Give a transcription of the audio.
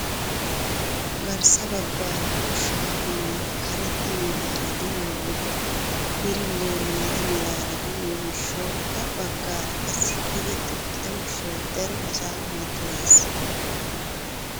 Garssa baggaara ushshaa ginay karetta meraara de'iyoo wode birillee maata meraara de'iyoo gishshawu ha baggaara qassi tigetti uttida ushshaay daro asaa mattoyees!